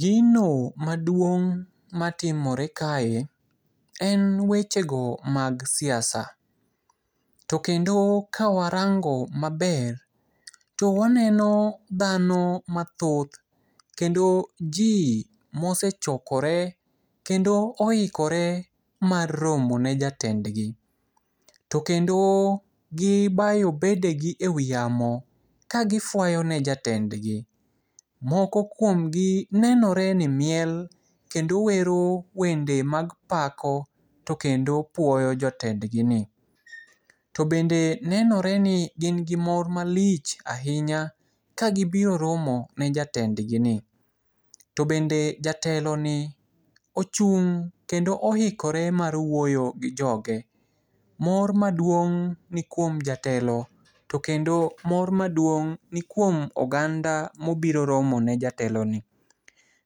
Gino maduong' matimore kae, en wechego mag siasa. To kendo kawarango maber to waneno dhano mathoth. Kendo ji mosechokore kendo oikore mar romo ne jatendgi. To kendo gibayo bedegi e wi yamo ka gifuayo ne jatendgi. Moko kuomgi nenore ni miel kendo wero wende mag pako to kendo puoyo jotendgini. To bende nenore ni gin gi mor malich ahinya ka gibiro romo ne jatendgini. To bende jateloni ochung' kendo oikore mar wuoyo gi joge. Mor maduong' ni kuom jatelo to kendo mor maduong' ni kuom oganda mobiro romo ne jateloni.